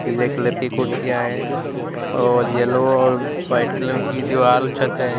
हरे colour की कुर्सियां हैं और येलो और वाइट कलर की दीवाल छत हैं।